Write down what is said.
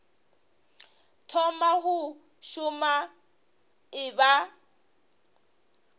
thoma go šoma e ba